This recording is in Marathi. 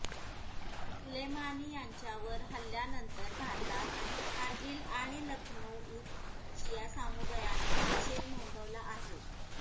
सुलेमानी यांच्यावर हल्ल्यानंतर भारतात कारगिल आणि लखनऊ इथ शिया समुदायाने निषेध नोंदवला आहे